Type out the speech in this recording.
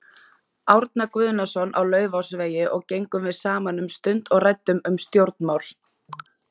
Árna Guðnason á Laufásvegi og gengum við saman um stund og ræddum um stjórnmál.